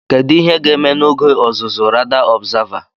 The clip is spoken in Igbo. Kedu ihe ga-eme n'oge ọzụzụ Radar Observer?